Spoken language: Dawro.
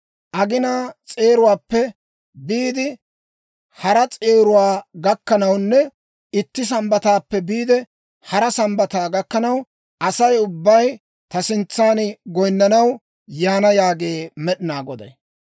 Aginaa s'eeruwaappe biide hara s'eeruwaa gakkanawunne itti Sambbataappe biide hara Sambbataa gakkanaw, Asay ubbay ta sintsan goynanaw yaana yaagee Med'inaa Goday.